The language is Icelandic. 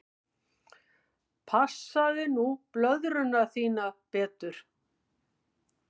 Passaðu nú blöðruna þína betur.